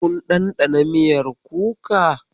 Kun ɗanɗana miyar kuka.